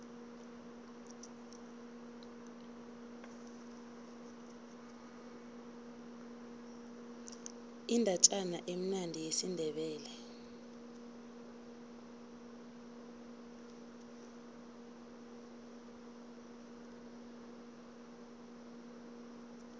indatjana emnandi yesindebele